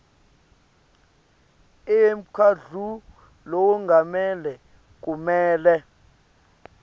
emkhandlu lowengamele kumele